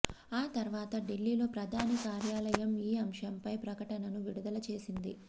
ఆ తర్వాత ఢిల్లీలో ప్రధాని కార్యాలయం ఈ అంశంపై ప్రకటనను విడుదల చేసింది